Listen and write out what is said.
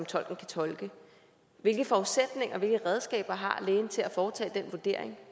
tolken kan tolke hvilke forudsætninger hvilke redskaber har lægen til at foretage den vurdering